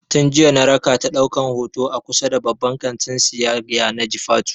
Tin jiya na rakata ɗaukan hoto a kusa da babban kantin siyayya na jifatu